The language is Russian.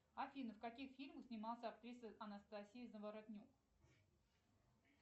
афина в каких фильмах снималась актриса анастасия заворотнюк